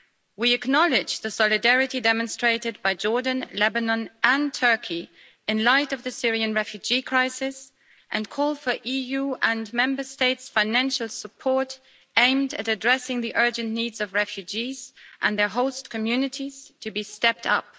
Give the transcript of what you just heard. We acknowledge the solidarity demonstrated by Jordan, Lebanon and Turkey in light of the Syrian refugee crisis, and call for EU and Member State financial support aimed at addressing the urgent needs of refugees and their host communities to be stepped up.